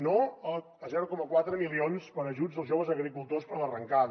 no a zero coma quatre milions per a ajuts als joves agricultors per a l’arrencada